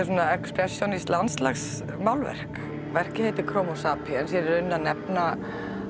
svona expressjónískt landslagsmálverk verkið heitir Chromo sapiens ég er í rauninni að nefna